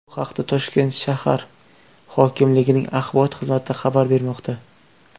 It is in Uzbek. Bu haqda Toshkent shahar hokimligining axborot xizmati xabar bermoqda .